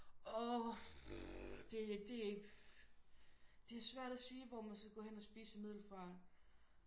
Åh hm det er det er det er svært at sige hvor man skal hen og spise i Middelfart